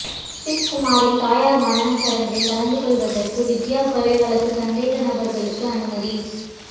Swiss குமாரின் தாயாரின் மரணச்சடங்கில் கலந்துகொள்வதற்கு வித்தியா கொலை வழக்கு சந்தேக நபர்களுக்கு அனுமதி